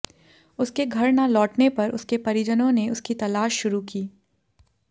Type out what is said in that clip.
उसके घर न लौटने पर उसके परिजनों ने उसकी तलाश शुरू की